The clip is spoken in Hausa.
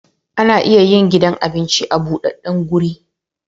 Ana iya yin gidan abinci a budaddan guri